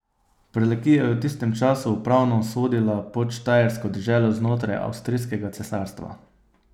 Prlekija je v tistem času upravno sodila pod Štajersko deželo znotraj Avstrijskega cesarstva.